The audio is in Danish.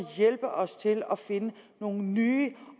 hjælpe os til at finde nogle nye